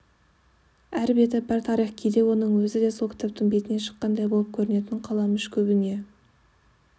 әр беті бір тарих кейде оның өзі де сол кітаптың бетінен шыққандай болып көрінетін қаламүш көбіне